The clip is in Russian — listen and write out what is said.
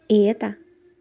и это